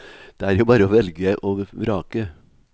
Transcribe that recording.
Det er jo bare å velge og vrake.